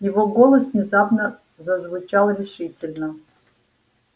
его голос внезапно зазвучал решительно